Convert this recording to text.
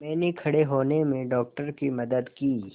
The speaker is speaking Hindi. मैंने खड़े होने में डॉक्टर की मदद की